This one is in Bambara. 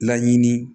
Laɲini